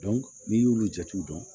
n'i y'olu jatew dɔn